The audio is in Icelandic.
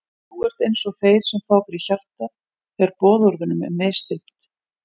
Þú ert einsog þeir sem fá fyrir hjartað þegar boðorðunum er misþyrmt.